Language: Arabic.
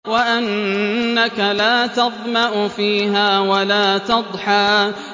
وَأَنَّكَ لَا تَظْمَأُ فِيهَا وَلَا تَضْحَىٰ